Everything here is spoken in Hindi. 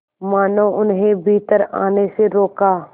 मानो उन्हें भीतर आने से रोका